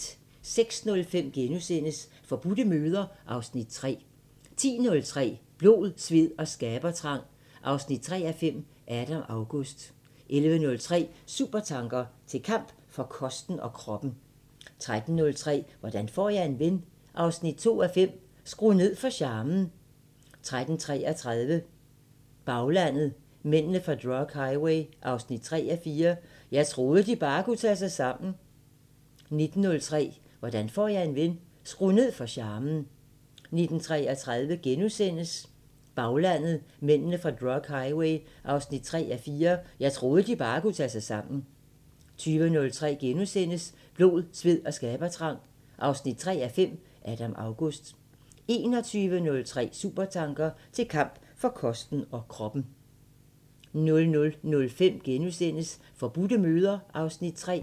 06:05: Forbudte møder (Afs. 3)* 10:03: Blod, sved og skabertrang 3:5 – Adam August 11:03: Supertanker: Til kamp for kosten og kroppen 13:03: Hvordan får jeg en ven 2:5 – Skru ned for charmen 13:33: Baglandet: Mændene fra drug highway 3:4 – "Jeg troede de bare kunne tage sig sammen" 19:03: Hvordan får jeg en ven 2:5 – Skru ned for charmen 19:33: Baglandet: Mændene fra drug highway 3:4 – "Jeg troede de bare kunne tage sig sammen" * 20:03: Blod, sved og skabertrang 3:5 – Adam August * 21:03: Supertanker: Til kamp for kosten og kroppen 00:05: Forbudte møder (Afs. 3)*